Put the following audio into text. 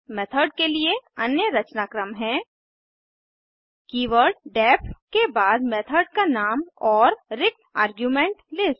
method के लिए अन्य रचनाक्रम है कीवर्ड डेफ के बाद मेथड का नाम और रिक्त आर्गुमेंट लिस्ट